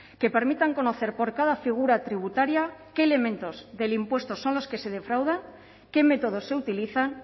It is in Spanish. que permitan conocer por cada figura tributaria qué elementos del impuesto son los que se defraudan qué métodos se utilizan